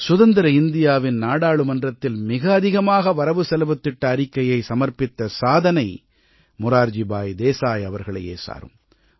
சுதந்திர இந்தியாவின் நாடாளுமன்றத்தில் மிக அதிகமாக வரவுசெலவுத் திட்ட அறிக்கையை சமர்ப்பித்த சாதனை மொரார்ஜி பாய் தேசாய் அவர்களையே சாரும்